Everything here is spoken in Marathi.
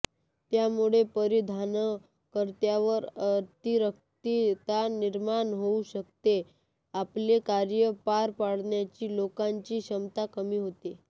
त्यामुळे परिधानकर्त्यावर अतिरिक्त ताण निर्माण होऊ शकते आपले कार्य पार पाडण्याची लोकांची क्षमता कमी होते